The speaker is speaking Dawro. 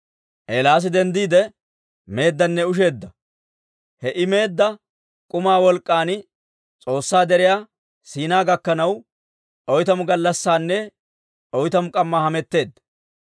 Eelaasi denddiide meeddanne usheeddanne. He I meedda k'umaa wolk'k'an S'oossaa deriyaa Siinaa gakkanaw, oytamu gallassaanne oytamu k'ammaa hametteedda.